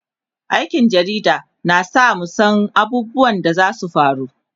aikin jarida na sa mu San abubuwan da zasu faru